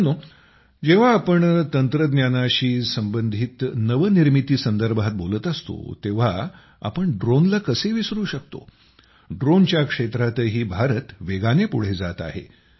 मित्रांनो जेव्हा आपण तंत्रज्ञानाशी संबंधित नवनिर्मिती संदर्भात बोलत असतो तेव्हा आपण ड्रोनला कसे विसरू शकतो ड्रोनच्या क्षेत्रातही भारत वेगाने पुढे जात आहे